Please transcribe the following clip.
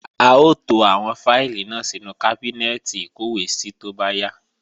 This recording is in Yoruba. A ó to àwọn fáìlì náà sínú kábínẹ́ẹ̀tì ìkọ́wèésí tó bá yá